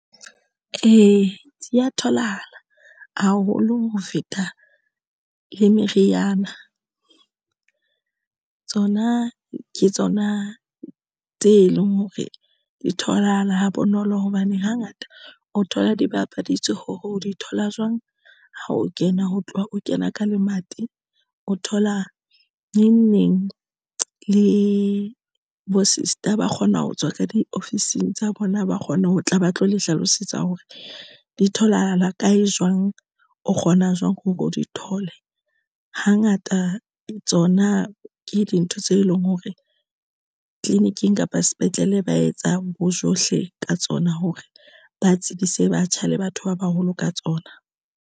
Ee, di ya tholahala haholo ho feta le meriana tsona ke tsona tse leng hore di tholahala ha bonolo hobane hangata o thola di bapaditswe hore o di thola jwang ha o kena ho tloha o kena ka lemati. O thola neng neng le bo-sister ba kgona ho tswa ka di ofising tsa bona, ba kgona ho tla ba tlo le hlalosetsa hore di tholahala kae jwang. O kgona jwang hore o di thole hangata tsona ke dintho tse leng hore ditleliniking kapa sepetlele ba etsang bojohle ka tsona hore ba tsebise batjha le batho ba baholo ka tsona.